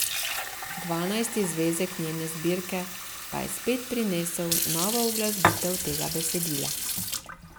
Dvanajsti zvezek njene zbirke pa je spet prinesel novo uglasbitev tega besedila.